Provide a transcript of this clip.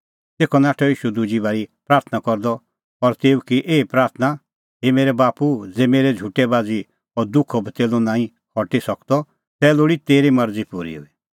तेखअ नाठअ ईशू दुजी बारी प्राथणां करदअ और तेऊ की एही प्राथणां हे मेरै बाप्पू ज़ै मेरै झुटै बाझ़ी अह दुखो कटोरअ नांईं हटी सकदअ तै लोल़ी तेरी मरज़ी पूरी हुई